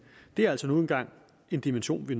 det er altså nu engang en dimension vi